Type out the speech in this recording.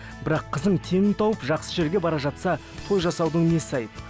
бірақ қызың теңін тауып жақсы жерге бара жатса той жасаудың несі айып